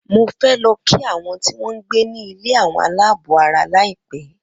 Mo fẹ lo kí àwọn tí wọ́n gbé ní ilé àwọn aláàbọ̀ara laipe